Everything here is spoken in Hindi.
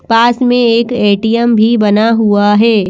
पास में एक ए_टी_एम भी बना हुआ है।